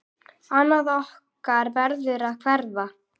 Annað okkar verður að hverfa.